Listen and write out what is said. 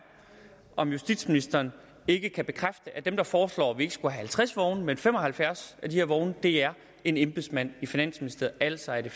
om justitsministeren ikke kan bekræfte at den der foreslår at vi ikke skal have halvtreds vogne men fem og halvfjerds vogne er en embedsmand i finansministeriet altså at det